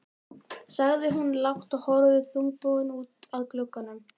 sagði hún lágt og horfði þungbúin út að glugganum.